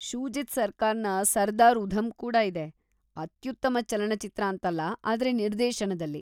ಶೂಜಿತ್‌ ಸರ್ಕಾರ್‌ನ ಸರ್ದಾರ್‌ ಉಧಮ್‌ ಕೂಡ ಇದೆ, ಅತ್ಯುತ್ತಮ ಚಲನಚಿತ್ರ ಅಂತಲ್ಲ, ಆದ್ರೆ ನಿರ್ದೇಶನದಲ್ಲಿ.